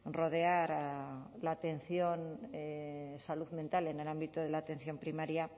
rodear a la atención de salud mental en el ámbito de la atención primaria